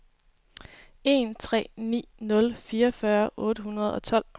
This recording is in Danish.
en tre ni nul fireogfyrre otte hundrede og tolv